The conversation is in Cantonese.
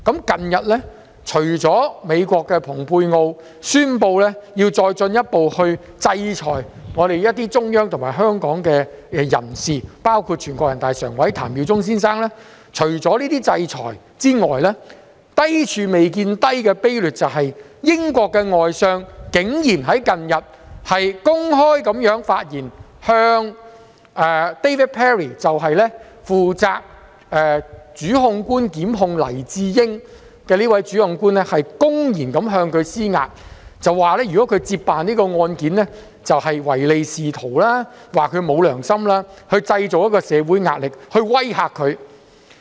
近日除了美國的蓬佩奧宣布要再進一步制裁一些中央及香港人士，包括全國人大常委譚耀宗先生，除了這些制裁外，低處未見低的卑劣手法是，英國外相竟然在近日公開發言，向負責檢控黎智英一案的主檢控官 David PERRY 公然施壓，指如果他接辦這宗案件，他便是唯利是圖，沒有良心，從而希望製造社會壓力來威嚇他。